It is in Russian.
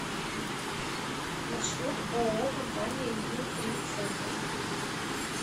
маршрут ооо компания ю три центр